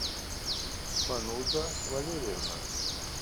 фануза валерьевна